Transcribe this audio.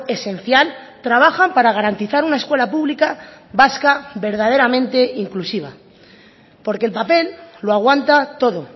esencial trabajan para garantizar una escuela pública vasca verdaderamente inclusiva porque el papel lo aguanta todo